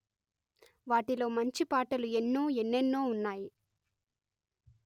వాటిలో మంచిపాటలు ఎన్నో ఎన్నెన్నో ఉన్నాయి